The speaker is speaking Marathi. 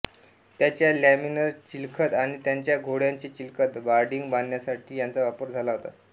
त्यांच्या लॅमेलर चिलखत आणि त्यांच्या घोड्यांचे चिलखत बार्डिंग बांधण्यासाठी याचा वापर झाला होता